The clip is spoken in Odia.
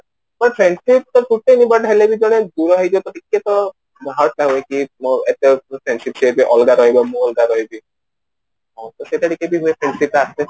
but friendship ସେ ଅଲଗା ରହିବ ମୁଁ ଅଲଗା ରହିବି ହଁ ସେଟା ବି friendship ରେ ଆସେ